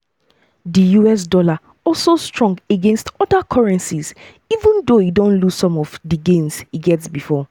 di us dollar also strong against oda currencies even though e don lose some of di gains e get bifo.